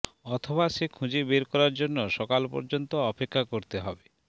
অথবা সে খুঁজে বের করার জন্য সকাল পর্যন্ত অপেক্ষা করতে হবে